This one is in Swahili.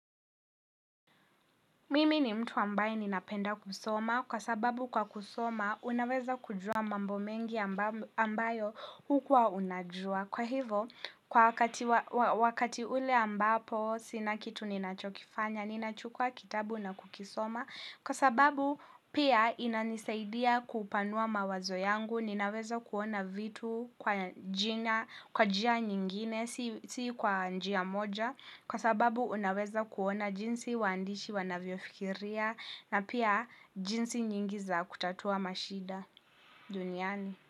Mimi ni mtu ambaye ninapenda kusoma, kwa sababu kwa kusoma unaweza kujua mambo mengi ambayo hukua unajua. Kwa hivo, kwa wakati ule ambapo sinakitu ninachokifanya, ninachukua kitabu na kukisoma. Kwa sababu pia inanisaidia kupanua mawazo yangu, ninaweza kuona vitu kwa jina, kwa jia nyingine, si kwa njia moja. Kwa sababu unaweza kuona jinsi waandishi wanavyofikiria na pia jinsi nyingi za kutatua mashida duniani.